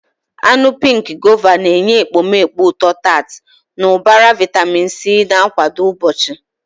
Anụ pink Guava na-enye ekpomeekpo ụtọ-tart na ụbara vitamin C, na-akwado mgbochi.